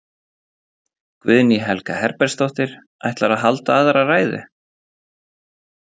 Guðný Helga Herbertsdóttir: Ætlarðu að halda aðra ræðu?